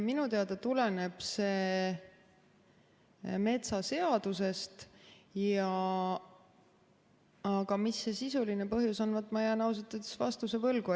Minu teada tuleneb see metsaseadusest, aga mis see sisuline põhjus on, vaat ma jään ausalt öeldes vastuse võlgu.